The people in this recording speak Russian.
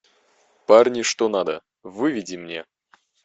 парни что надо выведи мне